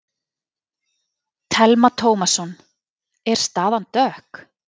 Telma Tómasson: Er staðan dökk?